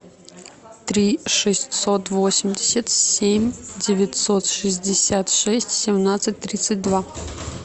три шестьсот восемьдесят семь девятьсот шестьдесят шесть семнадцать тридцать два